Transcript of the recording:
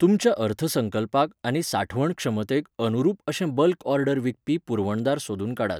तुमच्या अर्थसंकल्पाक आनी साठवण क्षमतेक अनुरूप अशे बल्क ऑर्डर विकपी पुरवणदार सोदून काडात.